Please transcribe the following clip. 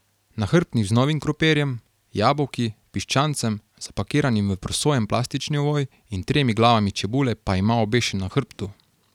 Nahrbtnik z novim krompirjem, jabolki, piščancem, zapakiranim v prosojen plastični ovoj, in tremi glavami čebule pa ima obešen na hrbtu.